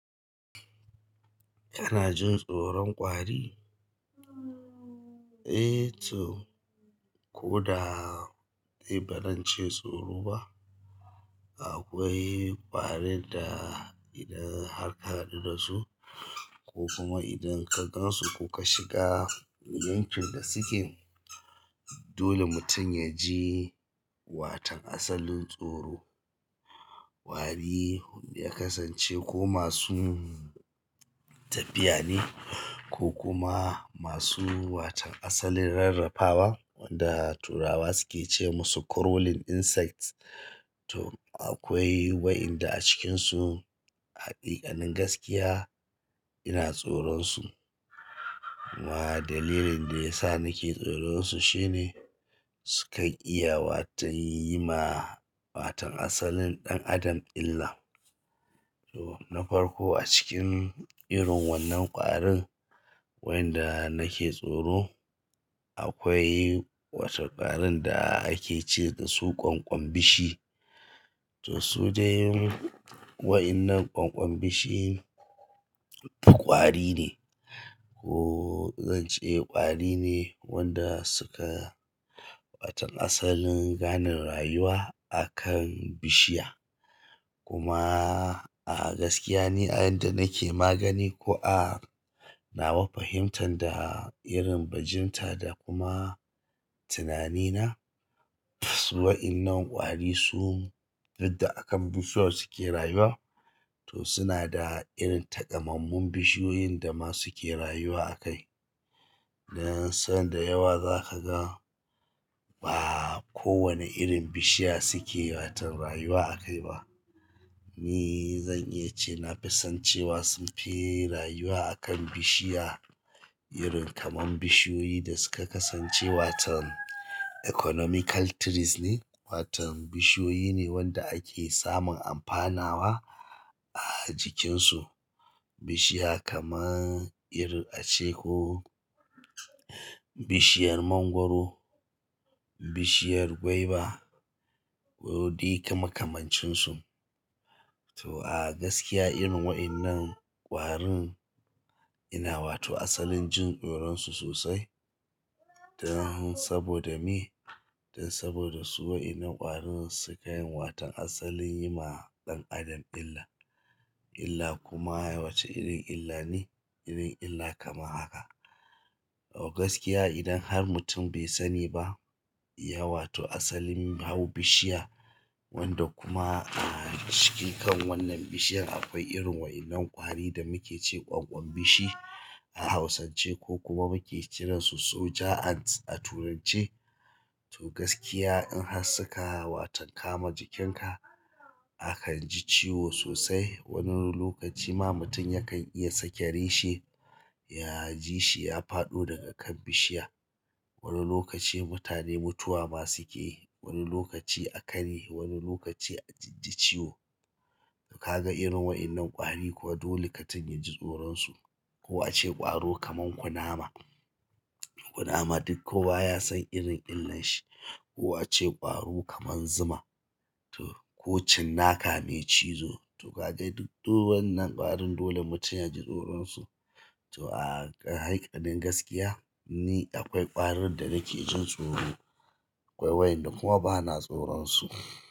Kana jin tsoron kwari? Eh to, ko da bazan ce tsoro ba, akwai kwari da idan har ka haɗu da su ko kuma idan ka gan su ko ka shiga yankin da suke, dole mutum ya ji watan asalin tsoro. Kwari ya kasance ko masu tafiya ne ko kuma masu watan asalin rarrafa wa wanda turawa suke ce musu crawling insects. To akwai waɗanda a cikinsu a haƙiƙanin gaskiya ina tsoron su. Amma dalilin da ya sa nake tsoron su shine su kan iya watan yi ma watan asalin ɗan adam illa. To na farko a cikin irin wannan ƙwarin waɗanda nake tsoro, akwai wata ƙwarin da ake ce da su ƙwanƙwanbishi. To su dai waɗannan ƙwanƙwan bishi ƙwari ne. Ko zan ce ƙwari ne wanda suka watan asalin gane rayuwa a kan bishiya. Kuma a gaskiya ni a yadda nake magana ko a nawa fahimtan da irin bajinta da kuma tunani na, waɗannan kwari su da aka bi su ake rayuwa. To suna da irin takamammun bishiyoyin da ma suke rayuwa a kai. Dan sanda yawa za ka ga ba kowane irin bishiya suke watan rayuwa a kai ba. Ni zan iya cewa nafisan cewa sunfi rayuwa akan bishiya irin kamar bishiyoyi da suka kasance watan economical trees ne. Watan bishiyoyi ne wanda ake samun amfanawa a jikinsu. Bishiya kamar irin ace ko bishiyar mangwaro, bishiyar gwaiba ko dai makamancin su. To a gaskiya irin waɗannan ƙwarin ina wato asalin jin tsoron su sosai. Dan saboda me? Dan saboda su waɗannan ƙwarin suka yin watan asalin yi ma ɗan adam illa. Illa kuma wace irin illa ne? Irin illa kamar haka. A gaskiya idan har mutum bai sani ba ya wato asalin hau bishiya wanda kuma a cikin kan wannan bishiyar akwai irin waɗannan ƙwari da muke ce ƙwanƙwan bishi a hausance ko kuma muke kiran su soja ant a turanci. To gaskiya in har suka watan kama jikinka, akan ji ciwo sosai. Wani lokaci ma mutum yakan iya sake reshe. Ya jishi ya faɗo daga kan bishiya wani lokaci mutane mutuwa ma sukeyi, wani lokaci a karye wani lokaci ajijji ciwo. Kaga irin waɗannan ƙwari kuwa dole mutum ya ji tsoron su. Ko a ce ƙwaro kamar kunama. Kunama duk ko baya son irin illan shi. Ko a ce ƙwaro kamar zuma. To ko cinnaka mai cizo. To kaga duk dukan wannan ƙwarin dole mutum ya ji tsoron su. To a hakikanin gaskiya ni akwai ƙwarin da nake jin tsoro. Akwai waɗanda kuma bana tsoron su.